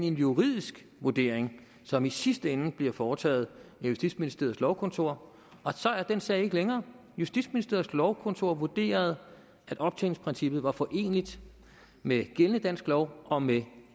en juridisk vurdering som i sidste ende bliver foretaget af justitsministeriets lovkontor og så er den sag ikke længere justitsministeriets lovkontor vurderede at optjeningsprincippet var foreneligt med gældende dansk lov og med